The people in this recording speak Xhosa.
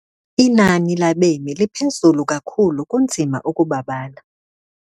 Inani labemi liphezulu kakhulu kunzima ukubabala.